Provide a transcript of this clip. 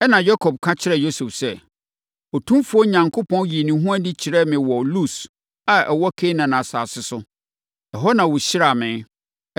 Ɛnna Yakob ka kyerɛɛ Yosef sɛ, “Otumfoɔ Onyankopɔn yii ne ho adi kyerɛɛ me wɔ Lus a ɛwɔ Kanaan asase so. Ɛhɔ na ɔhyiraa me,